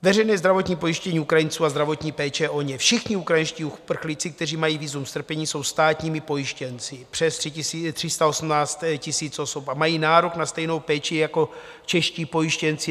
Veřejné zdravotní pojištění Ukrajinců a zdravotní péče o ně: všichni ukrajinští uprchlíci, kteří mají vízum strpění, jsou státními pojištěnci, přes 318 000 osob, a mají nárok na stejnou péči jako čeští pojištěnci.